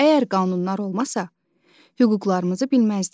Əgər qanunlar olmasa, hüquqlarımızı bilməzdik.